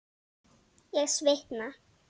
Ég svitna.